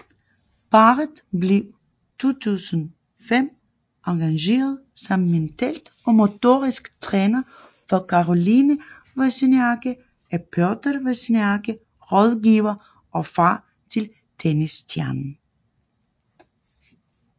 Parret blev 2005 engageret som mental og motorisk træner for Caroline Wozniacki af Piotr Wozniacki rådgiver og far til tennisstjernen